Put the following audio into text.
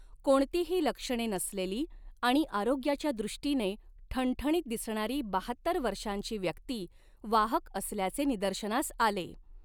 कोणतीही लक्षणे नसलेली आणि आरोग्याच्या दृष्टीने ठणठणीत दिसणारी बहात्तर वर्षांची व्यक्ती वाहक असल्याचे निदर्शनास आले.